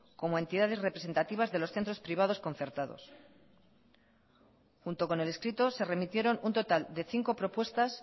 como entidades representativas de los centros privados concertados junto con el escrito se remitieron un total de cinco propuestas